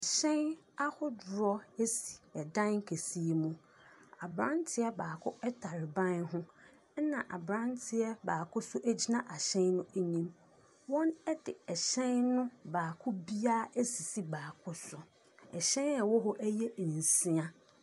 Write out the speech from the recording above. Ɛhyɛn ahodoɔ si dan kɛseɛ mu. Abranteɛ baako tare ban ho. Na abranteɛ baako nso gyina hyɛn no anim. Wɔde hyɛn no baako biara asisi baako so. Ahyɛn a ɛwɔ hɔ yɛ nsia.